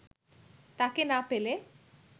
তাকে না পেলে